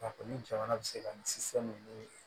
A ko ni jamana bɛ se ka ni